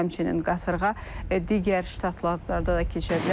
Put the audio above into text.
Həmçinin qasırğa digər ştatlarda da keçə bilər.